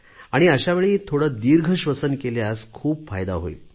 अशा वेळी थोडे दीर्घश्वसन केल्यास खूप फायदा होईल